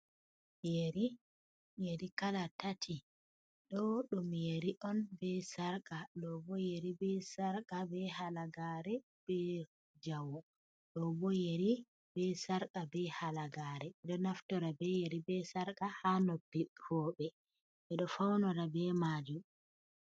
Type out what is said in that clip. Yeri yeri kala tati. Ɗo ɗum yeri on be sarqa, ɗobo yeri be sarqa be halagare be jawe, ɗobo yeri be sarqa be halagare. Ɗo naftora be yeri be sarqa ha noppi roɓe, ɓeɗo faunora be majum.